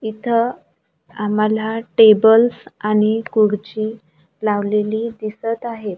इथं आम्हाला टेबल आणि खुर्ची लावलेली दिसत आहेत.